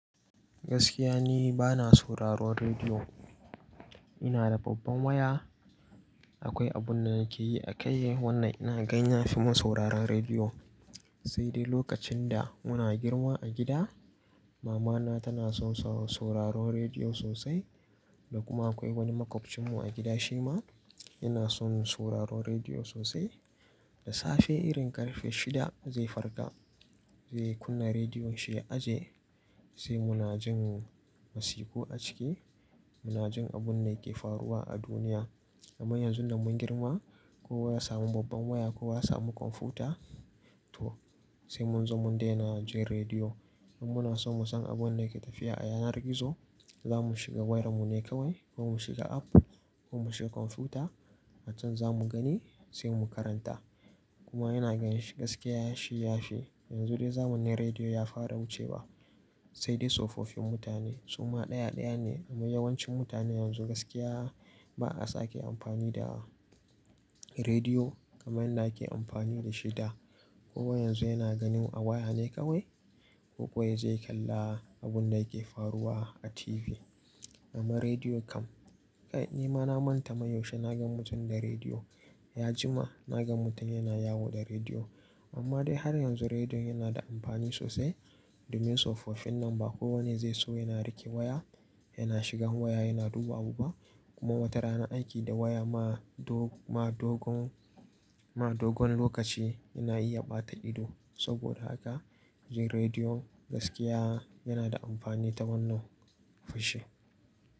Gaskiya ne bana sauraron rediyo. Ina da babban waya, akwai abun da yake yi a kai wannan ina gan ya fi mu sauraron rediyo. Sai dai lokacin da muna girma a gida, mama na tana son sauraron rediyo sosai. Da kuma akwai wani maƙwabcin mu a gida shi ma yana son sauraron rediyo sosai. Da safe irin ƙarfe shida zai farga zai kunna rediyon shi ya aje sai mu na jin wasiku a ciki, mu na jin abun da yake faruwa a duniya. Amma yanzu da mun girma, kowa ya samu babban waya, kowa ya samu kwamfuta toh sai mun zo mun dena jin rediyo. In muna so mu san abun da yake tafiya a yanar gizo, zamu shiga wayar mu ne kawai ko mu shiga app ko mu shiga kwamfuta. A can zamu gani sai mu karanta. Kuma yana ganshi gaskiya yashi yashi. Yanzu dai zamanin rediyo ya fara wucewa. Sai dai tsofaffin mutane suma ɗaya ɗaya ne. Amma yawancin mutane yanzu gaskiya ba a sa ke amfani da rediyo kamar yadda ake amfani da shi da. Kowa yanzu yana ganin a waya ne kawai ko kuwa zai kalla abun da yake faruwa a TV. Amma rediyo kam, ni ma na manta mai yaushe na gan mutum da rediyo. Ya jima na gan mutum yana yawo da rediyo. Amma dai har yanzu rediyon yana da amfani sosai. Domin tsofaffin nan ba kowane zai so yana riƙe waya, yana shiga waya yana duba abu ba. Kuma wata rana aiki da waya ma dogon, ma dogon, ma dogon lokaci yana iya ɓata ido. Saboda haka jin rediyo gaskiya yana da amfani ta wannan fushi.